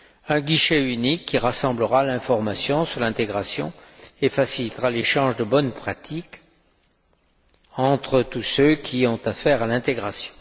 un guichet unique qui rassemblera l'information sur l'intégration et facilitera l'échange de bonnes pratiques entre tous ceux qui ont affaire à l'intégration.